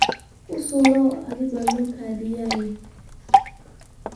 Usuru aad baa loo kordhiyey